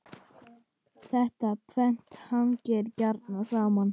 Þetta tvennt hangir gjarnan saman.